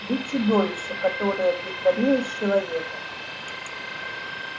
вы чудовище которое притворилось человеком